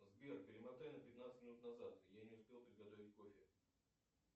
сбер перемотай на пятнадцать минут назад я не успел приготовить кофе